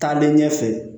Taalen ɲɛfɛ